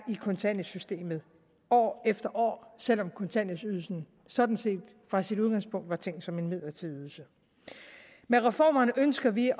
i kontanthjælpssystemet år efter år selv om kontanthjælpsydelsen sådan set fra sit udgangspunkt er tænkt som en midlertidig ydelse med reformerne ønsker vi